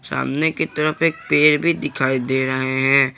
सामने की तरफ एक पेड़ भी दिखाई दे रहे हैं।